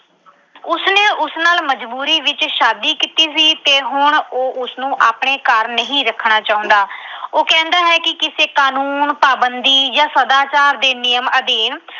ਉਸ ਨਾਲ ਮਜਬੂਰੀ ਵਿੱਚ ਸ਼ਾਦੀ ਕੀਤੀ ਸੀ ਤੇ ਹੁਣ ਉਹ ਉਸਨੂੰ ਆਪਣੇ ਘਰ ਨਹੀਂ ਰੱਖਣਾ ਚਾਹੁੰਦਾ। ਉਹ ਕਹਿੰਦਾ ਹੈ ਕਿ ਕਿਸੇ ਕਾਨੂੰਨ, ਪਾਬੰਦੀ ਜਾਂ ਸਦਾਚਾਰ ਦੇ ਨਿਯਮ ਅਧੀਨ